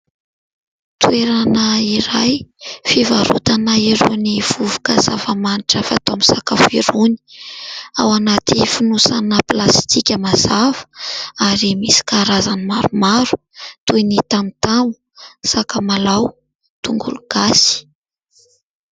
Toerana iray fivarotana irony vovoka zafamanitra afaka atao amin'ny sakafo irony, ao anaty fonosana plastika mazava ary misy karazany maromaro toy ny tamotamo sakamalaho, tongologasy.